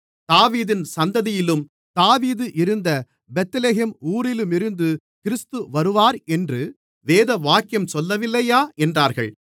தாவீதின் சந்ததியிலும் தாவீது இருந்த பெத்லகேம் ஊரிலுமிருந்து கிறிஸ்து வருவார் என்று வேதவாக்கியம் சொல்லவில்லையா என்றார்கள்